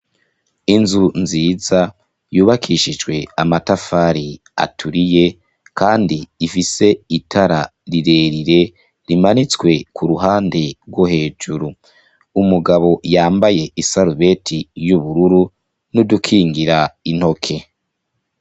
Inzu nziza yubakishijwe amatafari aturiye, kandi ifise itara rirerire rimanitswe kuruhande rwo hejuru, umugabo yambaye isarubeti y'ubururu n'udukingira intoke.